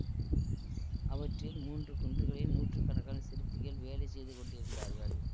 அவற்றில் மூன்று குன்றுகளில் நூற்று கணக்கான சிற்பிகள் வேலை செய்து கொண்டிருந்தார்கள்